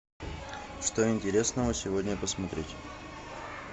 что интересного сегодня посмотреть